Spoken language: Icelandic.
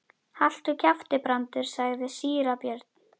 Haltu kjafti, Brandur, sagði síra Björn.